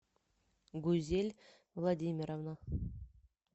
гузель владимировна